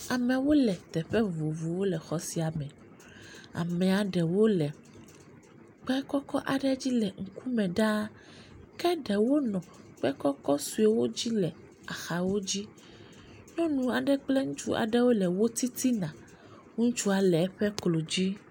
Amewo le teƒe vovovowo le xɔ sia me. Amea ɖewo le kpe kɔkɔ aɖe dzi le ŋkume ɖa. Ke ɖewo nɔ akpe kɔkɔ sɔewo dzi le axawo dzi. Nyɔnu aɖe kple ŋutsu asi aɖe le wò titina. Ŋutsu le eƒe klo dzi.